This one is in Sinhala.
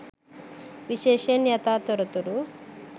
විශේෂයෙන් යථා තොරතුරු